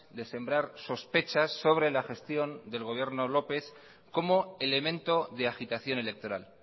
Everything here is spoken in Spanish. de sembrar sospechas sobre la gestión del gobierno lópez como elemento de agitación electoral